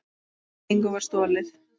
Engu var stolið.